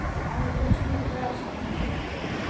En við uxum úr grasi.